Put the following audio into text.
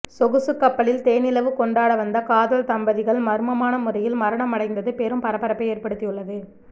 சொகுசு கப்பலில் தேனிலவு கொண்டாட வந்த காதல் தம்பதிகள் மர்மமான முறையில் மரணம் அடைந்தது பெரும் பரபரப்பை ஏற்படுத்தியுள்ளது